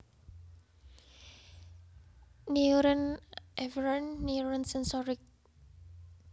Neuron Afferent Neuron Sensorik